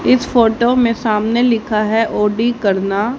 इस फोटो में सामने लिखा है ओ डी करना।